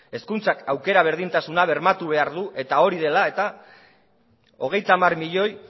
hezkuntzak aukera berdintasuna bermatu behar du eta hori dela eta hogeita hamar milioi